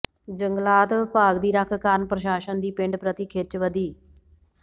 ਜੰਗਲਾਤ ਵਿਭਾਗ ਦੀ ਰੱਖ ਕਾਰਨ ਪ੍ਰਸ਼ਾਸਨ ਦੀ ਪਿੰਡ ਪ੍ਰਤੀ ਖਿੱਚ ਵਧੀ